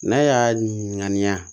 N'a y'a ŋaniya